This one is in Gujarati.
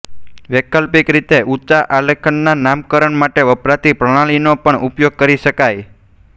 વૈકલ્પિક રીતે ઊંચા આલ્કેનના નામકરણ માટે વપરાતી પ્રણાલીનો પણ ઉપયોગ કરી શકાય